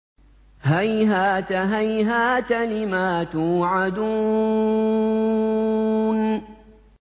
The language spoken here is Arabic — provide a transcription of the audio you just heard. ۞ هَيْهَاتَ هَيْهَاتَ لِمَا تُوعَدُونَ